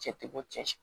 Cɛ ti bɔ cɛ si